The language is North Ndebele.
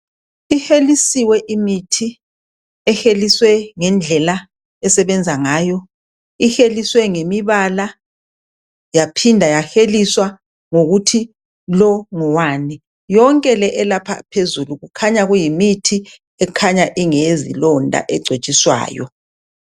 Ihelisiwe imithi eheliswe ngendlela esebenza ngayo. Iheliswe ngemibala yaphinda yaheliswa ngokuthi lo ngowani. Yonke le elapha phezulu kukhanya kuyimithi ekhanya ingeyezilonda egcotshiswayo.